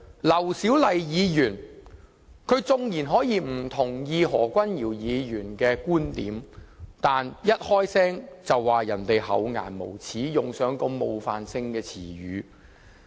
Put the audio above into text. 劉小麗議員縱然可以不同意何君堯議員的觀點，但她一發言便指何議員厚顏無耻，用上如此冒犯性的詞語。